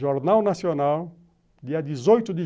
Jornal Nacional, dia dezoito de